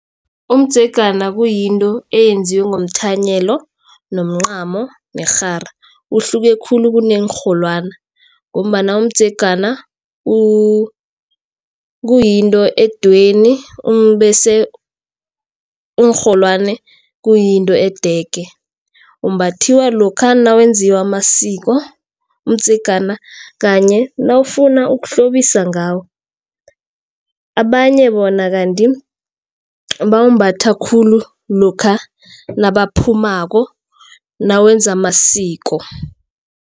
Umdzegana kuyinto eyenziwe ngomthanyelo nomncamo nerhara uhluke khulu kuneenrholwani. Ngombana umdzegana kuyinto edweyini bese iinrholwani kuyinto edege. Umbathiwa lokha nakwenziwa amasiko, umdzegana kanye nawufuna ukuhlobisa ngawo. Abanye bona kanti bawumbatha khulu lokha nabaphumuko nawenza amasiko.